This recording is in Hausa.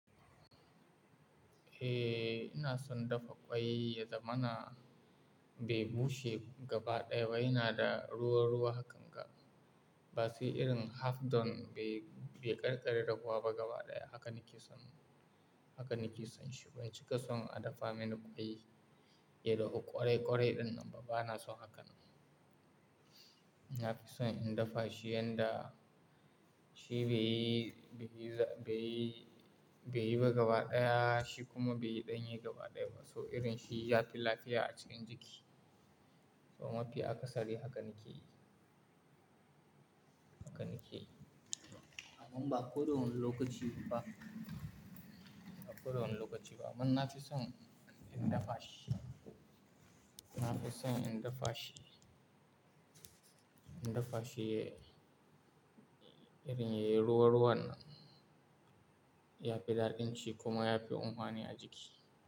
Eh, ina son dafa ƙwai ya zamana bai bushe gaba ɗaya ba yana da ruwa-ruwa hakan ga. Base irin half done bai, bai ƙare-ƙare dahuwa ba gaba ɗaya haka nake son, haka nake son shi. Ban cika son a dafa mini ƙwai ya dahu ƙurai-ƙurai ɗinnan ba bana son hakan. Na fi son in dafa shi yanda shi bai, bai, bai, bai yi ba gaba ɗaya shi kuma bai yi ɗanye gaba ɗaya ba. So irin shi ya fi lafiya a cikin jiki. So mafi akasari hakan nake yi, hakan nake yi. Amma ba koda wani lokaci ba. Ba ko do hun lokaci ba. Man na fi son in dafa shi. Na fi son in dafa shi, in dafa shi irin yayi ruwa-ruwannan ya fi daɗin ci kuma ya fi unuwani a jiki.